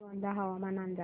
श्रीगोंदा हवामान अंदाज